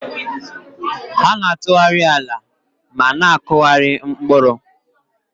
Ha na-atụgharị ala ma na-akụgharị mkpụrụ.